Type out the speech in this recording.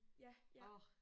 Ja ja